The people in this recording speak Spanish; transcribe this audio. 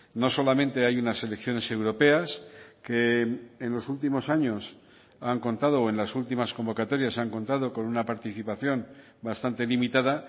no solamente hay unas elecciones europeas que en los últimos años han contado o en las últimas convocatorias han contado con una participación bastante limitada